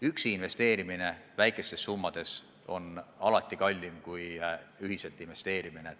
Üksi investeerimine väikestes summades on alati kallim kui ühiselt investeerimine.